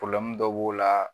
dɔ b'o la